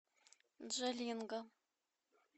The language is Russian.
джалинго